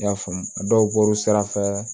I y'a faamu a dɔw bɔr'u sira fɛ